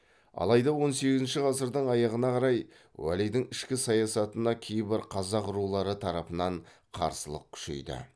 алайда он сегізінші ғасырдың аяғына қарай уәлидің ішкі саясатына кейбір қазақ рулары тарапынан қарсылық күшейді